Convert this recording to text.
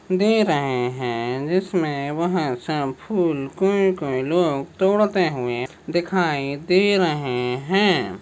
दे रहे है जिसमे वह सब फूल कोई कोई लोग तोड़ते हुए दिखाई दे रहे हैं।